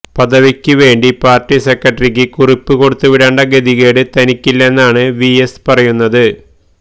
പദവിക്ക് വേണ്ടി പാര്ട്ടി സെക്രട്ടറിക്ക് കുറിപ്പ് കൊടുത്തുവിടേണ്ട ഗതികേട് തനിക്കില്ലെന്നാണ് വിഎസ് പറയുന്നത്